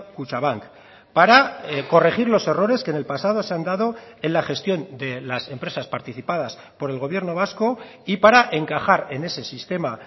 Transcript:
kutxabank para corregir los errores que en el pasado se han dado en la gestión de las empresas participadas por el gobierno vasco y para encajar en ese sistema